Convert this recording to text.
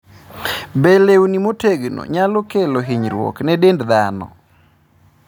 Be lewni motegno nyalo kelo hinyruok ne dend dhano?